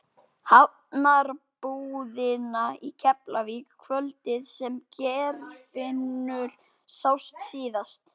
Hafnarbúðina í Keflavík kvöldið sem Geirfinnur sást síðast.